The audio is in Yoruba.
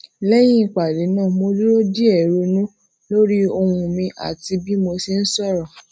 léyìn ìpàdé náà mo dúró díè ronú lórí ohun mi ati bi mo se sòrò